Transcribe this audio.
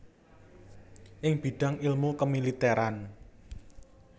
ing bidang ilmu kemiliteran